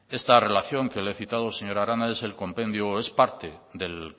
esta relación que le he citado señora arana es parte del